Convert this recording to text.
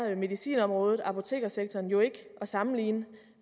medicinområdet apotekersektoren jo ikke at sammenligne